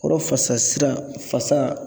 Kɔrɔ fasa sira , fasa